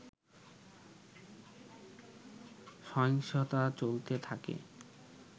সহিংসতা চলতে থাকে